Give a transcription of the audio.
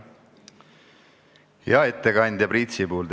Hea ettekandja Priit Sibul!